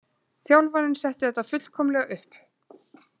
Þjálfarinn setti þetta fullkomlega upp.